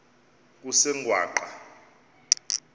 kusengwaqa